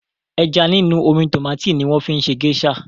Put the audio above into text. Ẹja nínú omi tòmátì ni wọ́n fi ń ṣe géṣà.